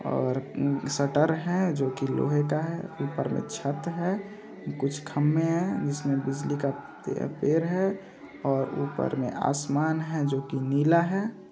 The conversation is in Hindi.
-- और शटर है जो की लोहे का है ऊपर में छत है कुछ खंभे है जिसमें बिजली का है और ऊपर में आसमान है जो की नीला है।